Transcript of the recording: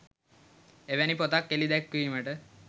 එවැනි පොතක් එළි දැක්වීමට